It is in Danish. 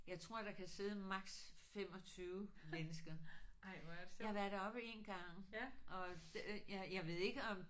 Jeg tror der kan sidde maks. 25 mennesker. Jeg har været deroppe én gang og jeg jeg ved ikke om